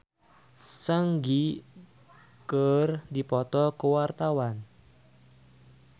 Regina Ivanova jeung Lee Seung Gi keur dipoto ku wartawan